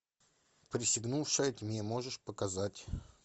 присягнувшая тьме можешь показать